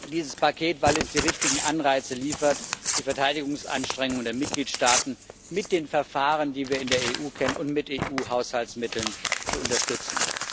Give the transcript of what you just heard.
dieses Paket, weil es die richtigen Anreize liefert, die Verteidigungsanstrengungen der Mitgliedstaaten mit den Verfahren, die wir in der EU kennen, und mit EU Haushaltsmitteln zu unterstützen.